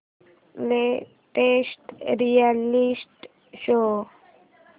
latest reality show